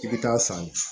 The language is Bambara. I bɛ taa san